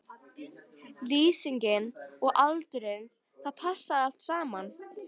Lýsingin og aldurinn, það passaði allt saman.